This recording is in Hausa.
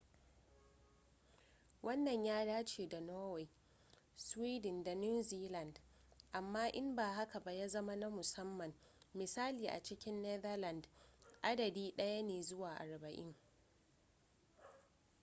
wannan ya dace da norway sweden da new zealand amma in ba haka ba ya zama na musamman misali a cikin netherlands adadi ɗaya ne zuwa arba'in